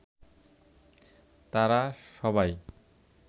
তারা সবাই